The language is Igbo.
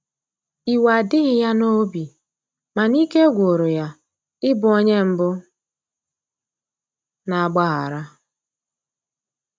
iwe adighi ya n'obi, mana ike gwụrụ ya ị bụ onye mbu na agbaghara